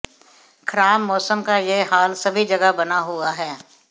खराब मौसम का यह हाल सभी जगह बना हुआ है